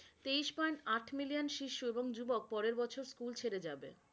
তেইশ point আট million শিশু এবং যুবক পরের বছর স্কুল ছেড়ে যাবে।